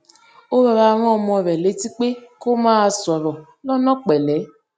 ó rọra rán ọmọ rè létí pé kó máa sòrò lónà pèlé